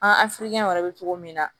An afirikɛnɔn be cogo min na